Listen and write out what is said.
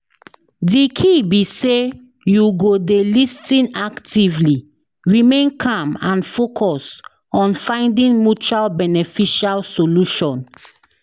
Di key be say you go dey lis ten actively, remain calm and focus on finding mutual beneficial solution.